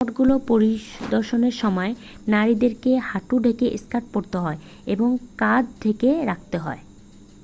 মঠগুলো পরিদর্শনের সময় নারীদেরকে হাঁটু ঢেকে স্কার্ট পড়তে হয় এবং কাঁধও ঢেকে রাখতে হয়